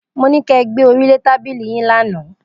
Mo ní kẹ gbé orí lé tábìlì yín lánàá!